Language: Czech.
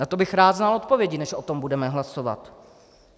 Na to bych rád znal odpovědi, než o tom budeme hlasovat.